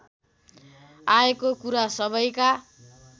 आएको कुरा सबैका